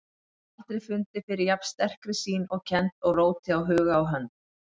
Aldrei fundið fyrir jafn sterkri sýn og kennd og róti á huga og hönd.